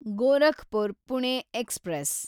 Gorakhpur Pune express